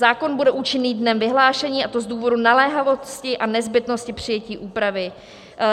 Zákon bude účinný dnem vyhlášení, a to z důvodu naléhavosti a nezbytnosti přijetí úpravy.